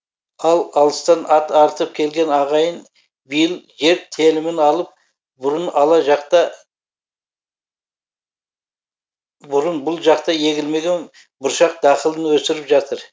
ал алыстан ат арытып келген ағайын биыл жер телімін алып бұрын бұрын бұл жақта егілмеген бұршақ дақылын өсіріп жатыр